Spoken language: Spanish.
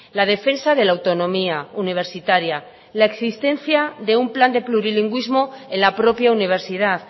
la defensa de la autonomía universitaria la existencia de un plan de plurilingüismo en la propia universidad